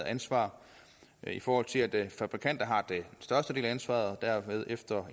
ansvar i forhold til at fabrikanter har den største del af ansvaret og derefter